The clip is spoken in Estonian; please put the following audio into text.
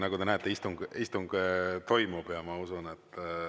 Nagu te näete, istung toimub.